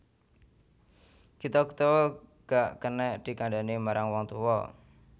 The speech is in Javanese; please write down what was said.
Gita Gutawa gak kenek dikandhani marang wong tuwa